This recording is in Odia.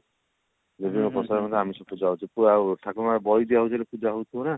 ଦେବୀଙ୍କ ପ୍ରସାଦରେ ଆମିଷ ପୂଜା ହଉଛି ଠାକୁରଙ୍କ ବଳି ଦିଆଯାଉଛି ମାନେ ପୂଜା ହଉଥିବ ନା